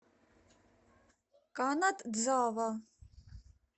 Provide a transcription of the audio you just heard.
канадзава